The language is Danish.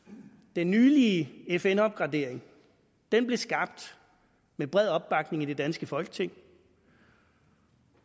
den nylige fn opgradering blev skabt med bred opbakning i det danske folketing